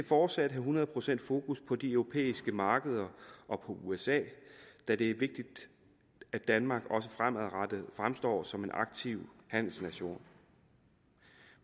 fortsat have hundrede procent fokus på de europæiske markeder og på usa da det er vigtigt at danmark også fremadrettet fremstår som en aktiv handelsnation